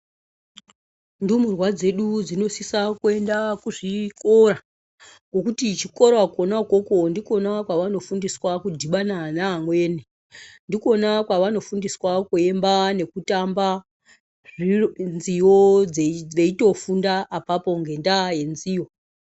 Ndumurwaa dzedu dzinosisa kuenda kuzvikoraa, ngokuti kuchikora kona ukoko ndikona kwavanofundiswaa kudhibana naamweni, ndikona kwavanofundiswaa kuemba nekutamba , nziyo dzeitofunda epapo ngendaa yenziyo.